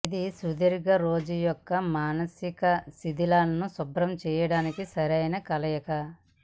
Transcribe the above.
ఇది సుదీర్ఘ రోజు యొక్క మానసిక శిధిలాలను శుభ్రం చేయడానికి సరైన కలయిక